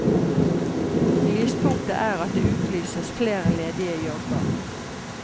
Lyspunktet er at det utlyses flere ledige jobber.